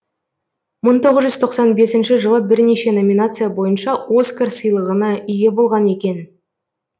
мың тоғыз жүз тоқсан бесінші жылы бірнеше номинация бойынша оскар сыйлығына ие болған екен